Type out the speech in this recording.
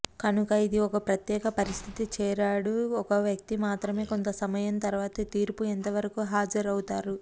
కనుక ఇది ఒక ప్రత్యేక పరిస్థితి చేరాడు ఒక వ్యక్తి మాత్రమే కొంత సమయం తర్వాత తీర్పు ఎంతవరకు హాజరవుతారు